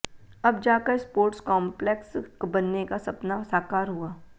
अब जाकर sports complex बनने का सपना साकार हुआ